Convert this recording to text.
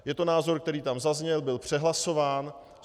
Je to názor, který tam zazněl, byl přehlasován.